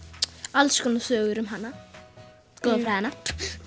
alls konar sögur um hana goðafræðina